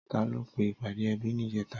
Tàló pé ipàdé èbí nijètá?